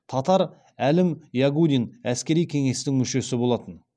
татар әлім ягудин әскери кеңестің мүшесі болатын